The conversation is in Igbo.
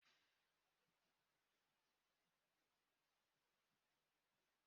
Ụtọ mmanụ aṅụ na-adabere n'ihe aṅụ riri.